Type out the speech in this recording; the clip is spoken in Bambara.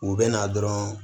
U bɛ na dɔrɔn